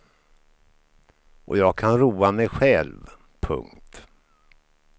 Och jag kan roa mig själv. punkt